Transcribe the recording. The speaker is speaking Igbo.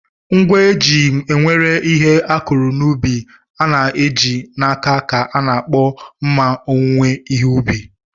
Ngwa eji ewere ihe akụrụ n'ubi a na-eji n'aka ka a na-akpọ mma owuwe ihe ubi.